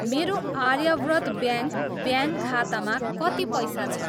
मेरो Aryavrat bank bank खातामा कति पैसा छ?